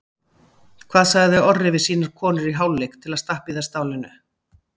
Hvað sagði Orri við sínar konur í hálfleik til að stappa í þær stálinu?